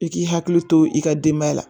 I k'i hakili to i ka denbaya la